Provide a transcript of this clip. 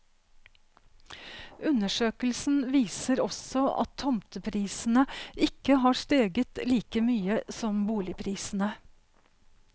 Undersøkelsen viser også at tomteprisene ikke har steget like mye som boligprisene.